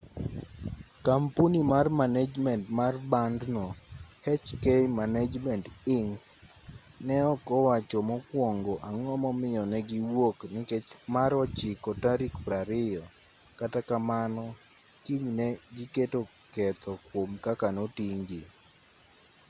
kampuni mar manejment mar bandno hk management inc. ne ok owacho mokuongo ang'o momiyo ne gi wuok nikech mar ochiko tarik 20 kata kamano kinyne giketo ketho kuom kaka noting'-gi